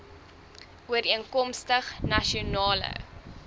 ooreenkomstig nasion ale